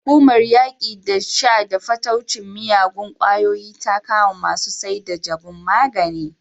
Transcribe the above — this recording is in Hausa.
Hukumar yaƙi da sha da fataucin miyagun ƙwayoyi ta kama masu saida jabun magani.